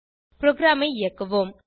ப்ரோகிராமை இயக்குவோம்